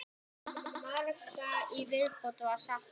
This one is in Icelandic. Margra í viðbót var saknað.